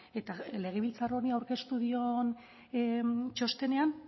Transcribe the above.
eta legebiltzar honi aurkeztu dion txostenean